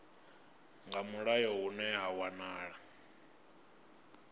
nga mulayo hune ha wanala